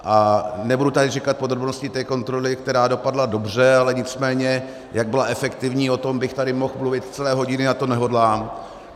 A nebudu tady říkat podrobnosti té kontroly, která dopadla dobře, ale nicméně jak byla efektivní, o tom bych tady mohl mluvit celé hodiny a to nehodlám.